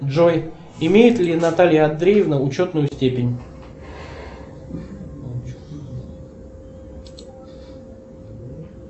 джой имеет ли наталья андреевна ученую степень